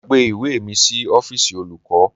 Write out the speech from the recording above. Mo gbàgbé ìwé mi sí ọ́fíìsì olùkọ́